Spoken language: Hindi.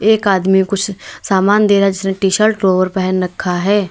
एक आदमी कुछ सामान दे रहा है जिसने टी शर्ट लोवर पहन रखा है।